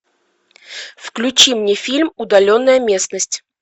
включи мне фильм удаленная местность